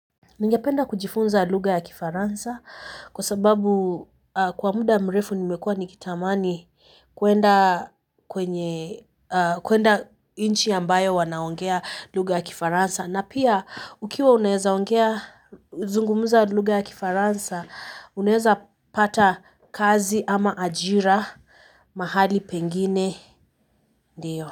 Ningependa kujifunza lugha ya Kifaransa kwa sababu kwa muda mrefu nimekua nikitamani kwenda nchi ambayo wanaongea lugha ya Kifaransa na pia ukiwa unaeza ongea zungumuza lugha ya Kifaransa unaeza pata kazi ama ajira mahali pengine ndiyo.